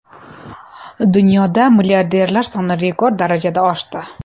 Dunyoda milliarderlar soni rekord darajada oshdi.